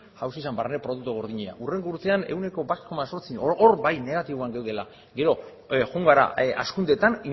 jauzi zen barne produktu gordina hurrengo urtean ehuneko bat koma zortzi hor bai negatiboan geundela gero joan gara hazkundetan